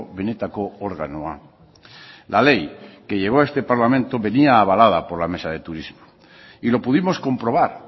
benetako organoa la ley que llegó a este parlamento venía avalada por la mesa de turismo y lo pudimos comprobar